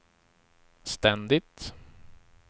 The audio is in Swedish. ständigt